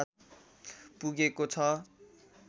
पुगेको छ